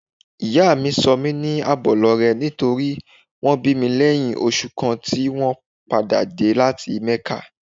Ìyá mi sọ mí ní Àbọ̀lọrẹ nítorí wón bí mi lẹ́yìn oṣù kan tí wón padà dé láti Mẹ́kà.